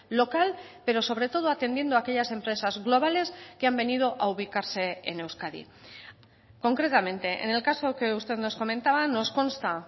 local pero sobre todo atendiendo aquellas empresas globales que han venido a ubicarse en euskadi concretamente en el caso que usted nos comentaba nos consta